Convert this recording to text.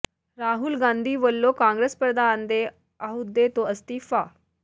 ਰਾਹੁਲ ਗਾਂਧੀ ਵੱਲੋਂ ਕਾਂਗਰਸ ਪ੍ਰਧਾਨ ਦੇ ਅਹੁਦੇ ਤੋਂ ਅਸਤੀਫਾ